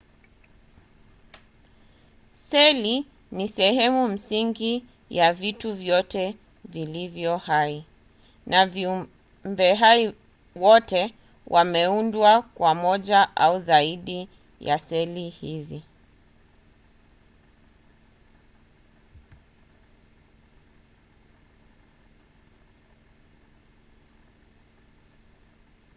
seli ni sehemu msingi ya vitu vyote vilivyo hai na viumbehai wote wameundwa kwa moja au zaidi ya seli hizi